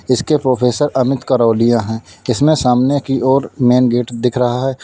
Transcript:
इसके प्रोफेसर अमित करौलिया है इसमें सामने की ओर मेन गेट दिख रहा है।